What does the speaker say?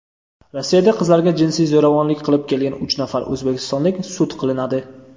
Rossiyada qizlarga jinsiy zo‘ravonlik qilib kelgan uch nafar o‘zbekistonlik sud qilinadi.